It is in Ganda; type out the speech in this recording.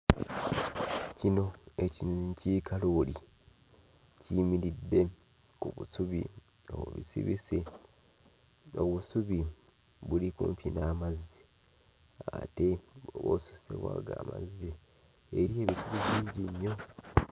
Kino ekinyonyi kiri kalooli. Kiyimiridde ku busubi obubisibisi. Obusubi buli kumpi n'amazzi ate bw'oba osusse ku ago amazzi eriyo ebisubi bingi nnyo.